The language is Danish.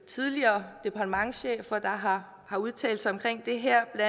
tidligere departementschefer der har udtalt sig om det her det